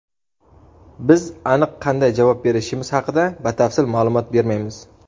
biz aniq qanday javob berishimiz haqida batafsil ma’lumot bermaymiz.